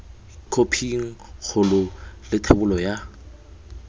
khophing kgolo le thebolo ya